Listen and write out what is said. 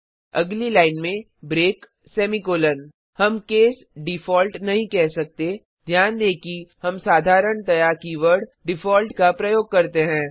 अगली लाइन में break semicolon हम केस डिफॉल्ट नहीं कह सकते ध्यान दें कि हम साधारणतया कीवर्ड डिफॉल्ट का प्रयोग करते हैं